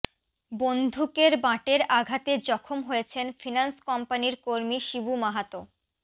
বন্দুকের বাঁটের আঘাতে জখম হয়েছেন ফিনান্স কোম্পানির কর্মী শিবু মাহাতো